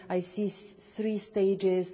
I see three stages.